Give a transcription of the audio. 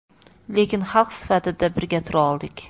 Lekin xalq sifatida birga tura oldik.